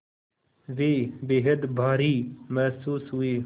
वे बेहद भारी महसूस हुए